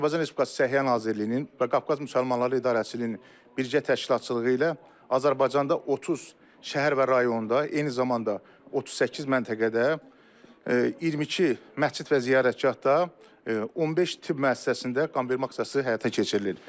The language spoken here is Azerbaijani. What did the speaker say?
Azərbaycan Respublikası Səhiyyə Nazirliyinin və Qafqaz Müsəlmanları İdarəçiliyinin bircə təşkilatçılığı ilə Azərbaycanda 30 şəhər və rayonda, eyni zamanda 38 məntəqədə 22 məscid və ziyarətgahda, 15 tibb müəssisəsində qanvermə aksiyası həyata keçirilir.